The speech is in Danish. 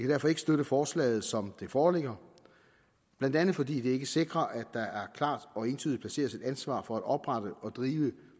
derfor ikke støtte forslaget som det foreligger blandt andet fordi det ikke sikrer at der klart og entydigt placeres et ansvar for at oprette og drive